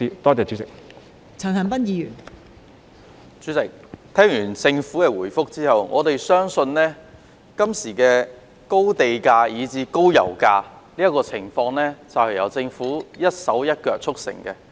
代理主席，聽完政府的主體答覆後，我們相信今天的高地價、以至高油價問題，是由政府一手促成的。